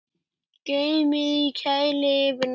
Geymið í kæli yfir nótt.